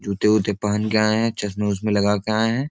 जूते-उते पहन के आए हैं चश्मे उशमे लगा के आए हैं।